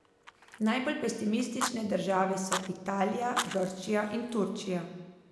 Najbolj pesimistične države so Italija, Grčija in Turčija.